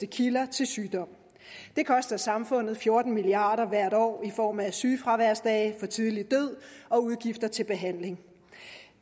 kilder til sygdom det koster samfundet fjorten milliard kroner hvert år i form af sygefraværsdage for tidlig død og udgifter til behandling